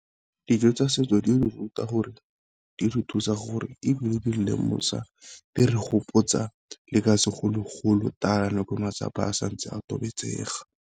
Dijo tsa setso di re ruta gore, di re thusa gore, ebile di lemosa di re gopotsa le ka segologolo tala no ke matlapa a santse a tobetsega.